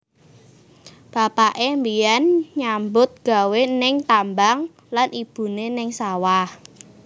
Bapaké mbiyen nyambut gawé ning tambang lan ibuné ning sawah